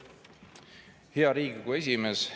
Hea Riigikogu esimees!